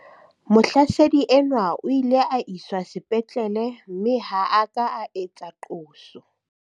Mohlasedi enwa o ile a iswa sepetlele mme ha a ka a etsa qoso.